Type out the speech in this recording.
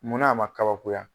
Mun na a ma kabakoya?